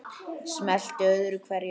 Smellti öðru hverju af.